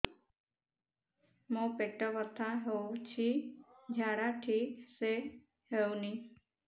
ମୋ ପେଟ ବଥା ହୋଉଛି ଝାଡା ଠିକ ସେ ହେଉନି